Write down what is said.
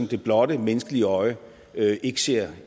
det blotte menneskelige øje ikke ser